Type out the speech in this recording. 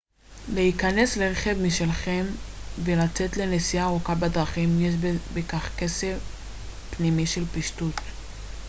להיכנס לרכב משלכם ולצאת לנסיעה ארוכה בדרכים יש בכך קסם פנימי של פשטות